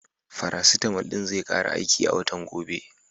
Faracitamal ɗin zai ƙare aiki a watan gobe.